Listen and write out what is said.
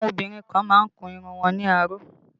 Àwọn obìnrin kan má ń kun irun wọn ní aró